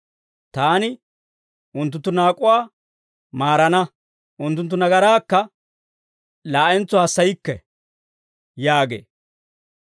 Taani unttunttu naak'uwaa maarana; unttunttu nagaraakka laa'entso hassaykke» yaagee.